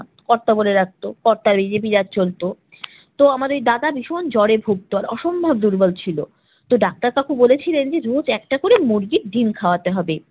কর্তা বলে ডাকতো কর্তারই রীতি রেওয়াজ চলত। তো আমার এই দাদা ভীষণ জ্বরে ভুগত, আর অসম্ভব দুর্বল ছিল। তো ডাক্তার কাকু বলেছিলেন যে রোজ একটা করে মুরগির ডিম খাওয়াতে হবে।